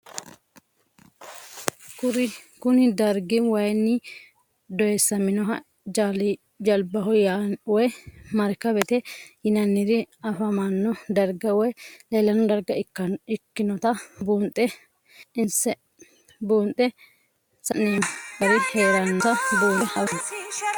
Kuni dargi wayini doyisaminohana jalibaho woyi marikabete yinanirina afamano darga woyi leelanno darga ikinota bunxe ansemo gari heeranota bunxe afeemo